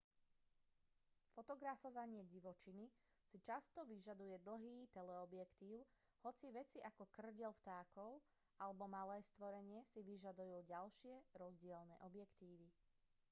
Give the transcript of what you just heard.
fotografovanie divočiny si často vyžaduje dlhý teleobjektív hoci veci ako kŕdeľ vtákov alebo malé stvorenie si vyžadujú ďalšie rozdielne objektívy